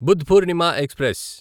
Buddh Purnima express